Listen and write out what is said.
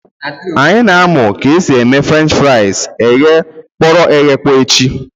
Anyị na amụ ka esi eme frenchi fries eghe kpọrọ eghekpọ echi